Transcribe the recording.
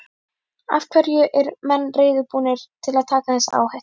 Af hverju er menn reiðubúnir að taka þessa áhættu?